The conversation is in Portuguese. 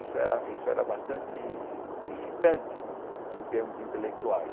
Isso era isso era bastante incitante em termos intelectuais.